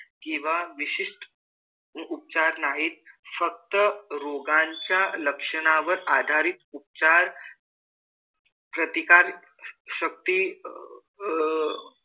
किंवा विशिष्ट उपचार नाहीत. फक्त रोगांच्या लक्षणांवर आधारित उपचार प्रतिकारशक्ती अह